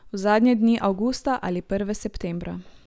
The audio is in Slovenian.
V zadnje dni avgusta ali prve septembra.